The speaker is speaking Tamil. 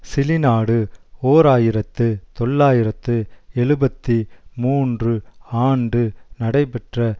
சிலி நாடு ஓர் ஆயிரத்து தொள்ளாயிரத்து எழுபத்தி மூன்று ஆண்டு நடைபெற்ற